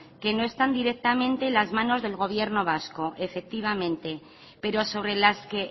que no están directamente en las manos del gobierno vasco efectivamente pero sobre las que